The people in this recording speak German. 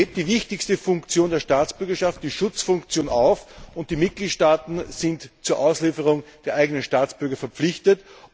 Er hebt die wichtigste Funktion der Staatsbürgerschaft, nämlich die Schutzfunktion auf, und die Mitgliedstaaten sind zur Auslieferung der eigenen Staatsbürger verpflichtet.